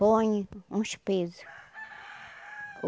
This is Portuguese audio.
Põe uns peso.